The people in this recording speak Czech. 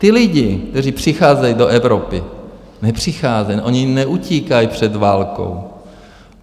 Ti lidé, kteří přicházejí do Evropy, nepřicházejí, oni neutíkají před válkou.